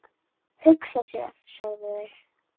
Hugsa sér, sögðu þau.